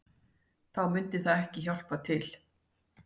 Þá myndi það ekki hjálpa til